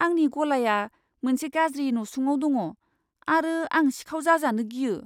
आंनि गलाया मोनसे गाज्रि नसुङाव दङ आरो आं सिखाव जाजानो गियो।